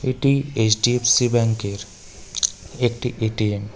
এটি H_ D_ F_ C ব্যাঙ্কের একটি এ_ টি_এম .